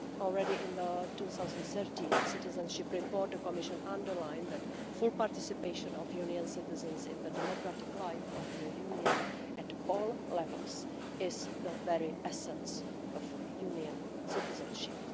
Already in the 2013 citizenship report, the Commission underlined that full participation of Union citizens in the democratic life of the Union at all levels is the very essence of Union citizenship.